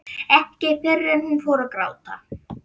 Ekki fyrr en hún fór að gráta.